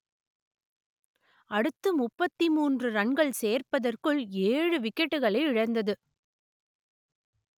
அடுத்து முப்பத்தி மூன்று ரன்கள் சேர்ப்பதற்குள் ஏழு விக்கெட்டுகளை இழந்தது